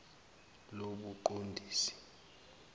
lobuqondisi